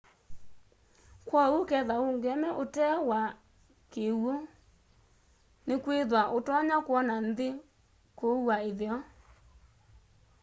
kwoou ukethwa uungeme utee wa kiw'u nikwithwa utonya kwona nthi kuua itheo